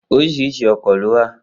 Oríṣiríṣi ọkọ̀ ló wà